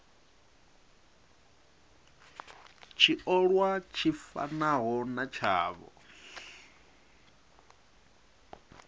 tshiolwa tshi fanaho na tshavho